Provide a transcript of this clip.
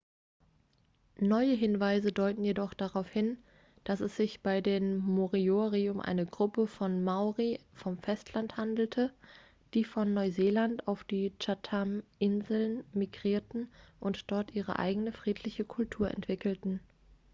neue hinweise deuten jedoch darauf hin dass es sich bei den moriori um eine gruppe von maori vom festland handelte die von neuseeland auf die chathaminseln migrierten und dort ihre eigene friedliche kultur entwickelten